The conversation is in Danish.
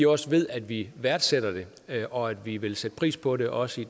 også ved at vi værdsætter det og at vi vil sætte pris på det også